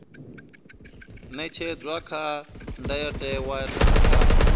ṅetshedzwa kha ndayotewa na kha